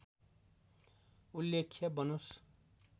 उल्लेख्य बनोस्